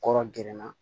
Kɔrɔ gɛrɛnna